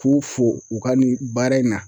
K'u fo u ka nin baara in na.